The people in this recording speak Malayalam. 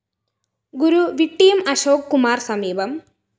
ഗുരു വിട്ടിയം അശോക് കുമാര്‍ സമീപം